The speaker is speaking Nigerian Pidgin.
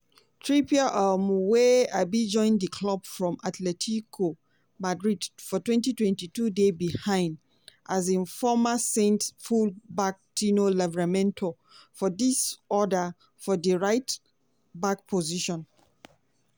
trippier um wey um join di club from atletico madrid for twenty twenty two dey behind um former saints full-back tino livramento for di order for di right-back position.